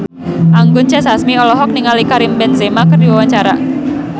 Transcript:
Anggun C. Sasmi olohok ningali Karim Benzema keur diwawancara